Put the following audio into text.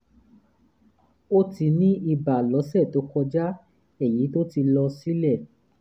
ó ti ní ibà lọ́sẹ̀ tó kọjá èyí tó ti lọ sílẹ̀